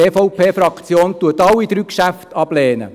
Die EVP-Fraktion lehnt alle drei Geschäfte ab.